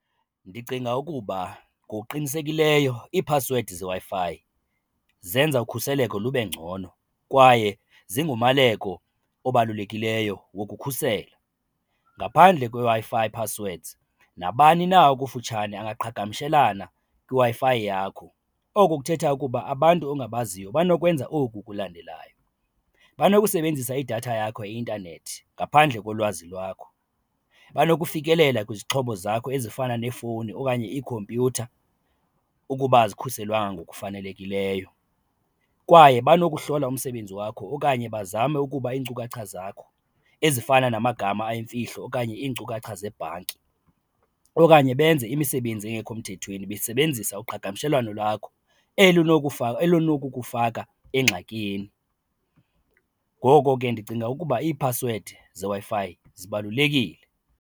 Ndicinga ukuba ngokuqinisekileyo iiphasiwedi zeWi-Fi zenza ukhuseleko lube ngcono kwaye zingumaleko obalulekileyo wokukhusela. Ngaphandle kweeWi-Fi passwords nabani na okufutshane angaqhagamshelana kwiWi-Fi yakho. Oko kuthetha ukuba abantu ongabaziyo banokwenza oku kulandelayo, banokusebenzisa idatha yakho yeintanethi ngaphandle kolwazi lwakho, banokufikelela kwizixhobo zakho ezifana neefowuni okanye ikhompyutha ukuba azikhuselelwanga ngokufanelekileyo kwaye banokuhlola umsebenzi wakho okanye bazame ukuba iinkcukacha zakho ezifana namagama ayimfihlelo okanye iinkcukacha zebhanki. Okanye benze imisebenzi engekho mthethweni besebenzisa uqhagamshelwano lwakho, eli eli linokukufaka engxakini. Ngoko ke ndicinga ukuba iiphasiwedi neWi-Fi zibalulekile.